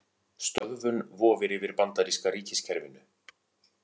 Stöðvun vofir yfir bandaríska ríkiskerfinu